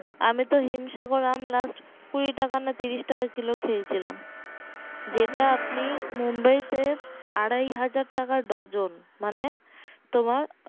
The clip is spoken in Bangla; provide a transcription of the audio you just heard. আমি তো হিমসাগর আম last কুড়ি টাকা না তিরিশ টাকা কিলো খেয়ে ছিলাম আপনি মুম্বাই তে আড়াই হাজার টাকা ডর্জন মানে তোমার